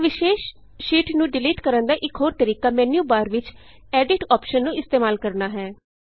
ਇਕ ਵਿਸ਼ੇਸ ਸ਼ੀਟ ਨੂੰ ਡਿਲੀਟ ਕਰਨ ਦਾ ਇਕ ਹੋਰ ਤਰੀਕਾ ਮੈਨਯੂਬਾਰ ਵਿਚ ਐਡਿਟ ਐਡਿਟ ਅੋਪਸ਼ਨ ਨੂੰ ਇਸਤੇਮਾਲ ਕਰਨਾ ਹੈ